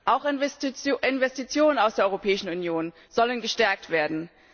Auch Investitionen aus der Europäischen Union sollen gestärkt werden.